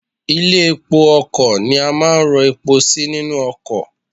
Ilé epo ọkò ni a máa ń ro epo sí nínú okò